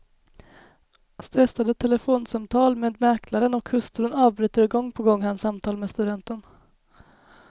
Stressade telefonsamtal med mäklaren och hustrun avbryter gång på gång hans samtal med studenten.